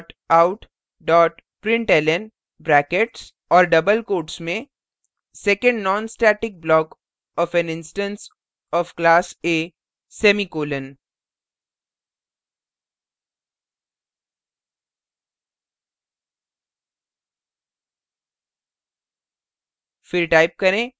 system dot out dot println brackets और double quotes में second non static block of an instance of class a semicolon